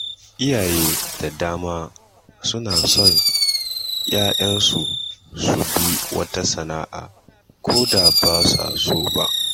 Iyaye da dama suna son ‘ya’yansu su bi wata sana’a, ko da ba su so ba.